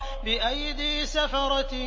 بِأَيْدِي سَفَرَةٍ